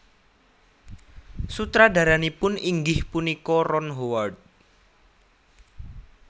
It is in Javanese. Sutradaranipun inggih punika Ron Howard